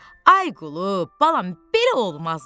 Ay qulu, balam, belə olmaz da.